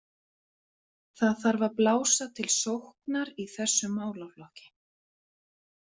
Það þarf að blása til sóknar í þessum málaflokki.